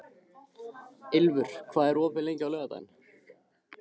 Ylfur, hvað er opið lengi á laugardaginn?